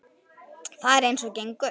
Það er eins og gengur.